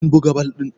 kun buga bal din!